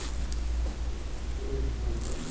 Ãh, esses produto.